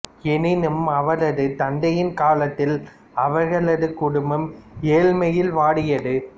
எனினும் அவரது தந்தையின் காலத்தில் அவர்களது குடும்பம் ஏழ்மையில் வாடியது